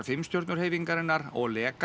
Hreyfingarinnar og Liga